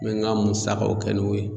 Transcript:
N bɛ n ka musakaw kɛ n'o ye.